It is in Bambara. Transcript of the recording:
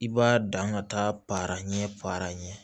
I b'a dan ka taa para ɲɛ paranɲɛ